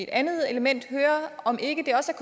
andet element om det ikke også er